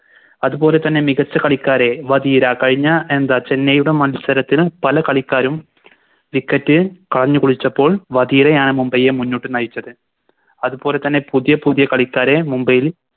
അതുപോലെ തന്നെ മികച്ച കളിക്കാരെ വാധീര കയിഞ്ഞ എന്താ ചെന്നൈയുടെ മത്സരത്തിന് പല കളിക്കാരും Wicket കളഞ്ഞ് കുളിച്ചപ്പോൾ വാധീരയാണ് മുംബൈയെ മുന്നോട്ട് നയിച്ചത് അത് പോലെ തന്നെ പുതിയ പുതിയ കളിക്കാരെ മുംബൈയിൽ